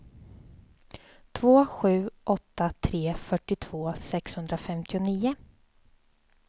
två sju åtta tre fyrtiotvå sexhundrafemtionio